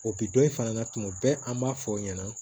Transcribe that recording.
O bi dɔ in fana na tuma bɛɛ an b'a fɔ o ɲɛna